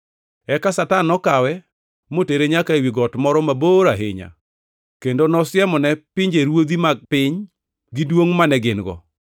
Eka Satan nokawe, motere nyaka ewi got moro mabor ahinya, kendo nosiemone pinjeruodhi mag piny gi duongʼ mane gin-go.